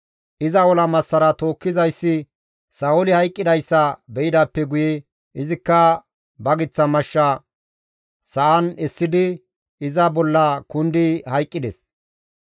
Iza ola massara tookkizayssi Sa7ooli hayqqidayssa be7idaappe guye izikka ba giththa mashsha sa7an essidi iza bolla kundi hayqqides.